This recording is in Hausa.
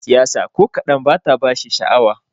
Siyasa ko kadan bata bashi sha'awa.